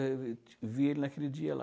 Aí eu vi vi ele naquele dia lá.